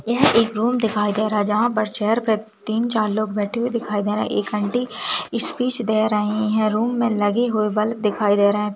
यह एक रूम दिखाई दे रहा है जहां पर चेयर पर तीन-चार लोग बैठे हुए दिखाई दे रहे हैं एक आंटी स्पीच दे रही हैं रूम में लगे हुए बल्ब दिखाई दे रहे हैं।